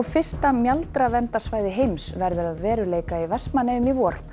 fyrsta heims verður að veruleika í Vestmannaeyjum í vor